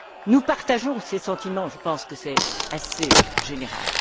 Nous partageons ces sentiments je pense que c'est assez général.